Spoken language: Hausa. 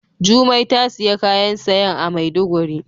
Jumai ta siya kayan sayan a maiduguri.